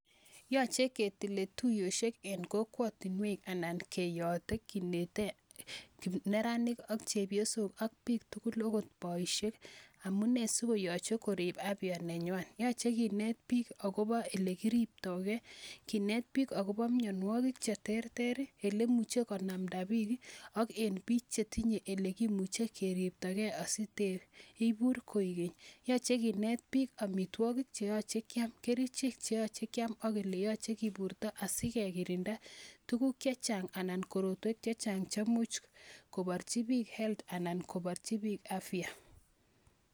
Yoche ketile tuyoshek eng kokwatinek anan keyoote kinite neranik ak chepyosok ak biik tugul akot boishek, amune sikoyoche korib apya nenywan. Yache kinet biik akobo ele kiribtoige, kinet biik akobo mianwokik che terter, ele imuche konamda biik, ak eng bik che tinye ele kimuche keribto gei asiteibur koikeny. Yoche kinet biik amitwokik che yoch kiam, kerichek che kiyache kiam ak ele chekiburta asikekirinda tukuk che chang anan korotwek che chang che much koborchi biik health anan kobarji biik afya.